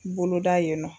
Boloda yen nɔ